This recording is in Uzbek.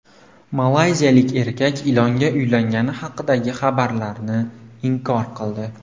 Malayziyalik erkak ilonga uylangani haqidagi xabarlarni inkor qildi.